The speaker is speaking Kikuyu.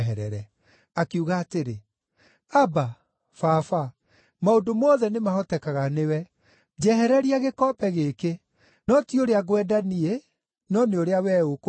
Akiuga atĩrĩ, “Abba, Baba, maũndũ mothe nĩmahotekaga nĩwe. Njehereria gĩkombe gĩkĩ. No ti ũrĩa ngwenda niĩ, no nĩ ũrĩa wee ũkwenda.”